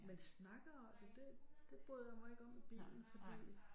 Men snakker det det bryder jeg mig ikke om i bilen for det